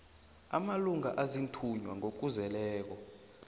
amalunga aziinthunywa ngokuzeleko